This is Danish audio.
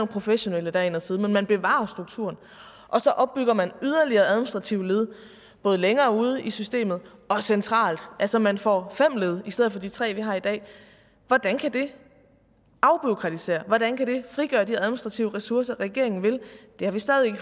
professionelle derind og sidde men man bevarer jo strukturen og så opbygger man yderligere administrative led både længere ude i systemet og centralt altså man får fem led i stedet for de tre vi har i dag hvordan kan det afbureaukratisere hvordan kan det frigøre de administrative ressourcer regeringen vil det har vi stadig ikke